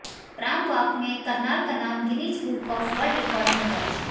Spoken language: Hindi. प्राम वाक में करनाल का नाम Guinness book of world record में दर्ज